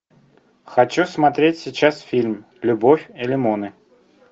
хочу смотреть сейчас фильм любовь и лимоны